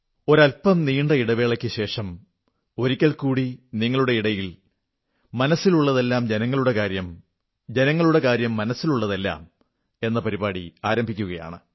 ഒരൽപം നീണ്ട ഇടവേളയ്ക്കുശേഷം വീണ്ടും ഒരിക്കൽകൂടി ജനങ്ങൾക്കും അവരുടെ ഹൃദയങ്ങൾക്കും ഏറെ അടുപ്പമുള്ള വിഷയങ്ങൾ യഥാർത്ഥത്തിൽ ഓരോ വ്യക്തിയുടെയും ഹൃദയത്തോട് ചേർന്ന വിഷയങ്ങൾ എന്ന നമ്മുടെ പരമ്പര പുനരാരംഭിക്കുകയാണ്